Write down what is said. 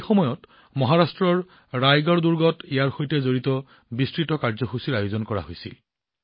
এই সময়ত মহাৰাষ্ট্ৰৰ ৰায়গড় গড়ত ইয়াৰ সৈতে জড়িত বৃহৎ অনুষ্ঠানৰ আয়োজন কৰা হয়